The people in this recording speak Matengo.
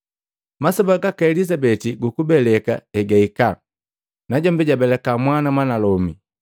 Masoba gaka Elizabeti gukubeleka egahika, najombi jabelika mwana mwanalome.